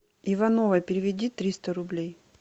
ивановой переведи триста рублей